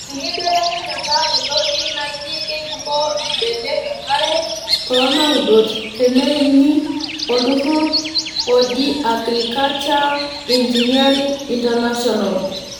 Enkibelekenyata entoki naji keibukoo mbenek enkare too naudot teneeni olturrurr oji Agriculture Engineering International.